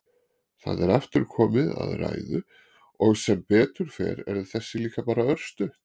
Það er aftur komið að ræðu og sem betur fer er þessi líka bara örstutt.